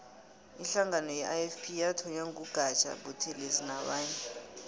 ihlangano ye ifp yathonywa ngu gaja buthelezi nabanye